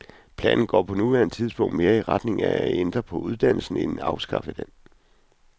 Planen går på nuværende tidspunkt mere i retning af at ændre på uddannelsen end afskaffe den.